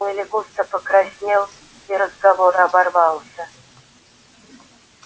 уилли густо покраснел и разговор оборвался